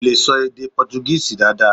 Kò lè ṣọ èdè Pọ́túgíìsì dáadáa.